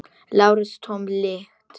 LÁRUS: Tóm lygi!